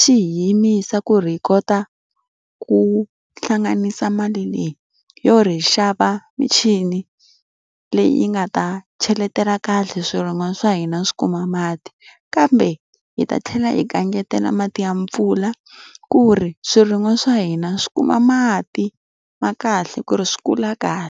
xi hi yimisa ku ri hi kota ku hlanganisa mali leyi yo ri hi xava michini leyi yi nga ta cheletela kahle swirin'wa swa hina swi kuma mati. Kambe hi ta tlhela hi kangetela mati ya mpfula, ku ri swirin'wa swa hina swi kuma mati ma kahle ku ri swi kula kahle.